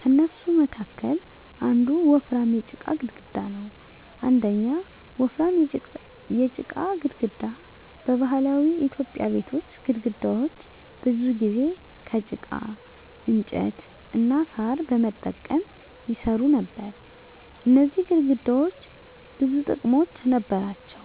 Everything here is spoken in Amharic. ከእነሱ መካከል አንዱ ወፍራም የጭቃ ግድግዳ ነው። 1. ወፍራም የጭቃ ግድግዳ በባህላዊ ኢትዮጵያዊ ቤቶች ግድግዳዎች ብዙ ጊዜ ከጭቃ፣ እንጨት እና ሣር በመጠቀም ይሰሩ ነበር። እነዚህ ግድግዳዎች ብዙ ጥቅሞች ነበራቸው፦